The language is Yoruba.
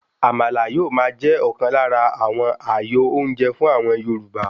Àmàlà yóò máa jẹ́ ọ̀kan lára àwọn àyò oúnjẹ fún àwọn Yorùbá.